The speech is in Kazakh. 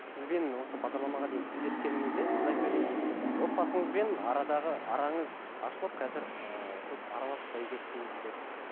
сізбен осы бағдарламаға дейін тілдескенімізде сіз айтып едіңіз отбасыңызбен арадағы араңыз ашылып қазір ыыы көп араласпай кеттіңіздер